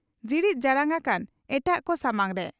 ᱡᱤᱲᱤᱡ ᱡᱟᱲᱟᱝ ᱟᱠᱟᱱᱟ ᱮᱴᱟᱜ ᱠᱚ ᱥᱟᱢᱟᱝ ᱨᱮ ᱾